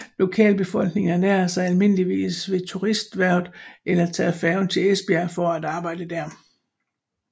Lokalbefolkningen ernærer sig almindeligvis ved turisterhvervet eller tager færgen til Esbjerg for at arbejde dér